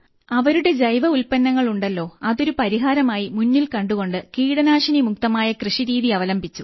അവരുടെ ജൈവ ഉൽപ്പന്നങ്ങൾ ഉണ്ടല്ലോ അതൊരു പരിഹാരമായി മുന്നിൽ കണ്ടുകൊണ്ട് കീടനാശിനിമുക്തമായ കൃഷിരീതി അവലംബിച്ചു